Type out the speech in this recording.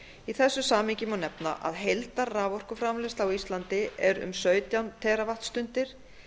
í þessu samhengi má nefna að heildarraforkuframleiðsla á íslandi er um sautján teravattstundir